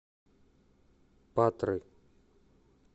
патры